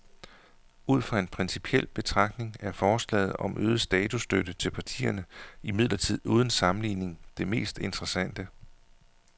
Ud fra en principiel betragtning er forslaget om øget statsstøtte til partierne imidlertid uden sammenligning det mest interessante.